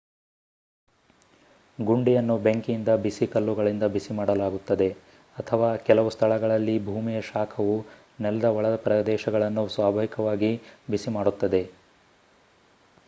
ಗುಂಡಿಯನ್ನು ಬೆಂಕಿಯಿಂದ ಬಿಸಿ ಕಲ್ಲುಗಳಿಂದ ಬಿಸಿ ಮಾಡಲಾಗುತ್ತದೆ ಅಥವಾ ಕೆಲವು ಸ್ಥಳಗಳಲ್ಲಿ ಭೂಮಿಯ ಶಾಖವು ನೆಲದ ಒಳಪ್ರದೇಶಗಳನ್ನು ಸ್ವಾಭಾವಿಕವಾಗಿ ಬಿಸಿ ಮಾಡುತ್ತದೆ